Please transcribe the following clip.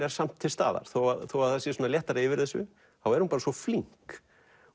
er samt til staðar þó þó það sé léttara yfir þessu þá er hún svo flink